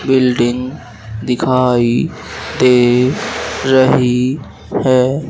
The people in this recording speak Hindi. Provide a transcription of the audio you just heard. बिल्डिंग दिखाई दे रही है।